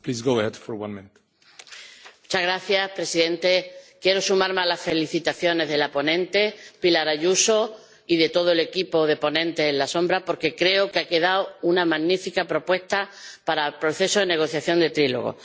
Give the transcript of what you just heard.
Señor presidente, quiero sumarme a las felicitaciones a la ponente, Pilar Ayuso, y a todo el equipo de ponentes alternativos, porque creo que ha quedado una magnífica propuesta para el proceso de negociación de trílogo.